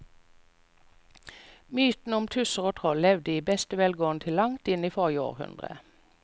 Mytene om tusser og troll levde i beste velgående til langt inn i forrige århundre.